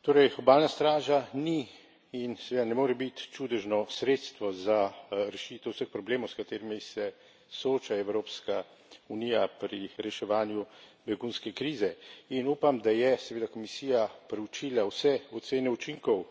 Torej, obalna straža ni in seveda ne more biti čudežno sredstvo za rešitev vseh problemov, s katerimi se sooča Evropska unija pri reševanju begunske krize, in upam, da je seveda Komisija preučila vse ocene učinkov